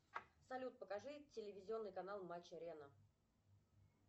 салют покажи телевизионный канал матч арена